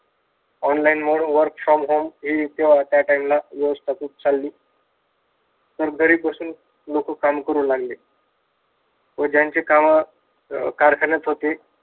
Online mode, work from home हि त्या time ला व्यवस्था खूप चालली व घरी बसून लोक काम करु लागले. व ज्यांचे काम अं कारखान्यात होते.